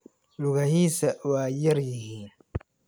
Lugahisa waa yar yihiin.